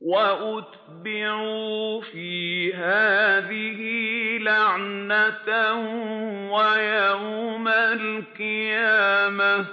وَأُتْبِعُوا فِي هَٰذِهِ لَعْنَةً وَيَوْمَ الْقِيَامَةِ ۚ